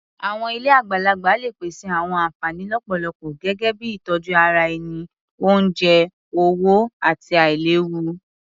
Àwọn ilé àgbàlagbà lè pèsè àwọn ànfàní lọ́pọ̀lọpọ̀ gẹ́gẹ́ bíi ìtọjú ara ẹni, oúnjẹ, owó, àti àìléwu.